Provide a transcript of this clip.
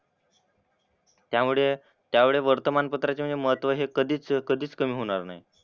त्यामुळे त्यामुळे वर्तमानपत्राचे म्हणजे महत्त्व हे कधीच कधीच कमी होणार नाही.